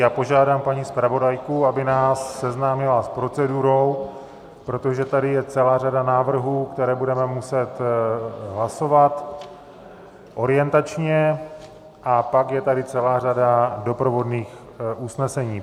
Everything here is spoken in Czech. Já požádám paní zpravodajku, aby nás seznámila s procedurou, protože tady je celá řada návrhů, které budeme muset hlasovat orientačně, a pak je tady celá řada doprovodných usnesení.